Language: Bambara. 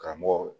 Karamɔgɔw